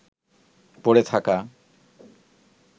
পড়ে থাকা